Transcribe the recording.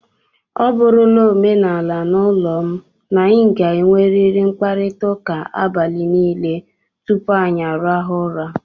Ọ bụrụla omenala n'ụlọ m, na anyị ga-enwerịrị mkparịtaụka abalị niile tupu anyị arahụọ ụra.